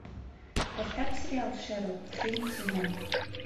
поставь сериал шерлок последний сезон